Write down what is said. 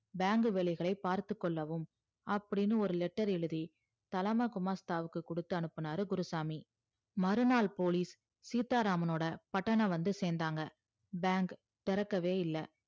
bank வேலைகளை பார்த்து கொள்ளவும் அப்டின்னு ஒரு letter எழுதி தலமா குமஷ்தாவுக்கு குடுத்து அனுப்புனாரு குருசாமி மறுநாள் police சீத்தா ராமனோட பட்டனம் வந்து சேந்தாங்க bank திறக்கவே இல்ல